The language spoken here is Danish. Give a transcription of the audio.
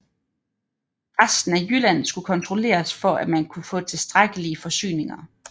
Resten af Jylland skulle kontrolleres for at man kunne få tilstrækkelige forsyninger